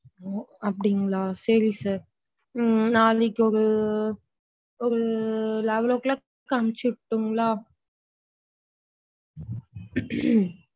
அப்படிங்களா சேரி sir நாளைக்கு ஒரு level clock க்கு அனுப்ச்சுரடுன்களா?